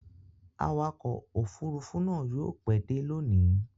Awakọ̀ òfurufú náà yóò pẹ́ dé lónìí.